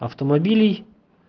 автомобилей